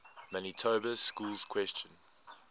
manitoba schools question